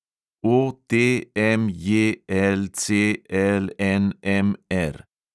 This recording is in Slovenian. OTMJLCLNMR